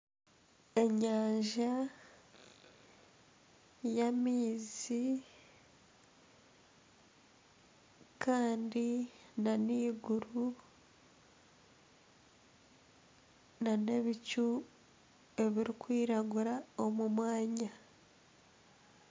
Enyanja y'amaizi kandi na n'eiguru na n'ebicu ebirikwiragura omu mwanya.